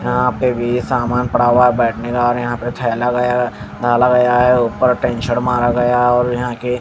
यहां पे भी समान पड़ा हुआ बैठने का और यहां पे गया डाला गया है उपर टिन शेड मारा गया और यहां के--